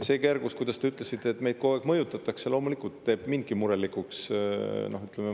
See kergus, kuidas te ütlesite, et meid kogu aeg mõjutatakse, loomulikult teeb mind murelikuks.